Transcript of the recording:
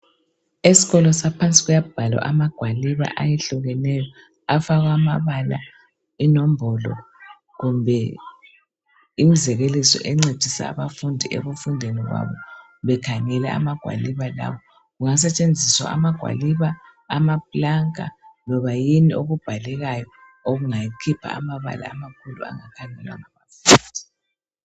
Esikolo saphansi kuyabhalwa amagwaliba ahlukeneyo. Afakwa amabala, inombholo kumbe imzekeliso encedisa abafundi ekufundeni kwabo bekhangela amagwaliba lawa. Kungasetshenziswa amagwaliba ama planka noma yini okubhalekayo okungakhipha amabala amakhulu angakhangelwa ngabafundi.